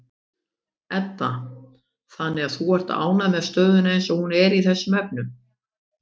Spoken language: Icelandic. Edda: Þannig að þú ert ánægður með stöðuna eins og hún er í þessum efnum?